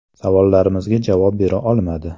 Savollarimizga javob bera olmadi.